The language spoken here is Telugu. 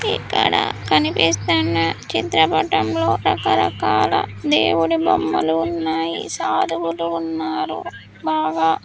ఇక్కడ కనిపిస్తున్న చిత్రపటంలో రకరకాల దేవుని బొమ్మలు ఉన్నాయి సాధములు ఉన్నారు బాగా.